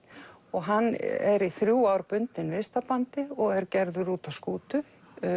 og hann er í þrjú ár bundinn og er gerður út á skútu